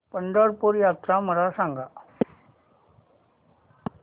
पंढरपूर यात्रा मला सांग